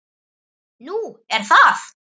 Nú, er það?